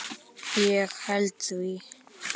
Ég heiti því.